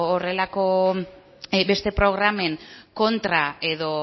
horrelako beste programen kontra edo